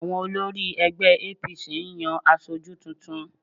Àwọn olórí ẹgbẹ́ APC ń yan aṣojú tuntun